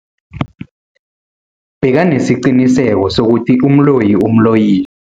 Bekanesiqiniseko sokuthi umloyi umloyile.